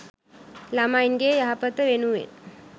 ළමයින්ගේ යහපත වෙනුවෙන්